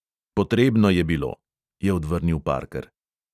"Potrebno je bilo," je odvrnil parker.